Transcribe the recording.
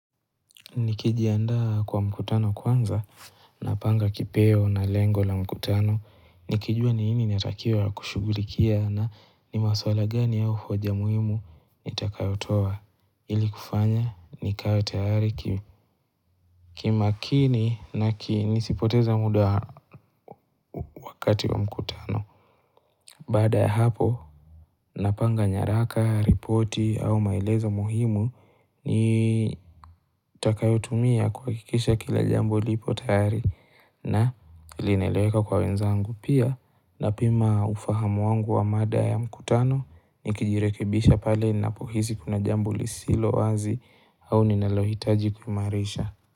Nikijiandaa kwa mkutano kwanza napanga kipeo na lengo la mkutano nikijua ni nini inatakiwa kushughulikia na ni maswala gani au hoja muhimu nitakayotoa ili kufanya nikawe tayari kimakini na ki, nisipoteze muda wa wakati wa mkutano. Baada ya hapo napanga nyaraka, ripoti au maelezo muhimu Nitakayotumia kuhakikisha kila jambo lipo tayari na linaeleweka kwa wenzangu, pia napima ufahamu wangu wa mada ya mkutano nikijirekebisha pale ninapohisi kuna jambo lisilo wazi au ninalohitaji kuimarisha.